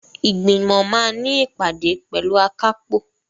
Ìgbìmọ̀ máa ní ìpàdé pẹ̀lú akápò.